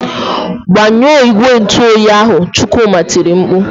"Gbanyụọ igwe ntụoyi ahụ!" Chukwuma tiri mkpu.